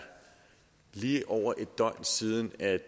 lige over et døgn siden at